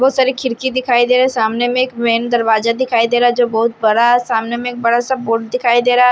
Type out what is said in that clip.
बहुत सारी खिड़की दिखाई दे रहा सामने में एक मेन दरवाजा दिखाई दे रहा जो बहोत बड़ा सामने में बड़ा सा बोर्ड दिखाई दे रहा--